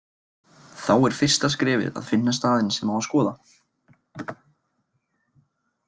Þá er fyrsta skrefið að finna staðinn sem á að skoða.